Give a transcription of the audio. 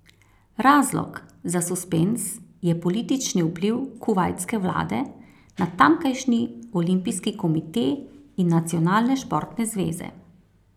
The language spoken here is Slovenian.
Razlog za suspenz je politični vpliv kuvajtske vlade na tamkajšnji olimpijski komite in nacionalne športne zveze.